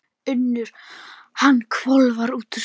UNNUR: Hann hvolfir úr skónum.